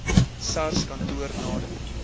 sars kantoor nader